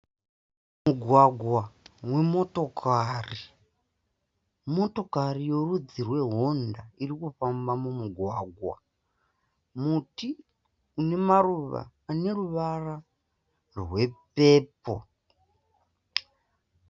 Mugwagwa wemotokari. Motokari yerudzi rwehonda iri kufamba mumugwagwa. Muti une maruva aneruvara rwepepo.